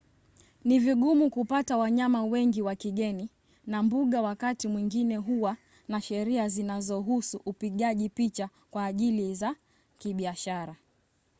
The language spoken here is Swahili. ni vigumu kupata wanyama wengi wa kigeni na mbuga wakati mwingine huwa na sheria zinazohusu upigaji picha kwa ajili za kibiashara